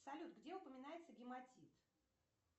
салют где упоминается гематит